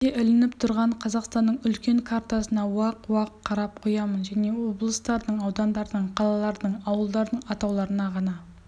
кабинетімде ілініп түрған қазақстанның үлкен картасына уақ-уақ қарап қоямын және облыстардың аудандардың қалалардың ауылдардың атауларына ғана